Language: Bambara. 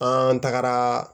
An tagara